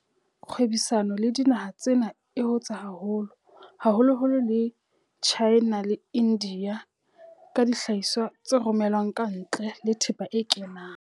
Kgwebisano le dinaha tsena e hotse haholo, haholoholo le China le India ka dihlahiswa tse romelwang kantle le thepa e kenang.